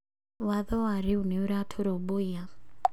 Watho warĩu nĩũra tũrũmbũiya